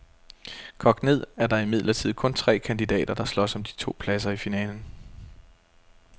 Kogt ned er der imidlertid kun tre kandidater, der slås om de to pladser i finalen.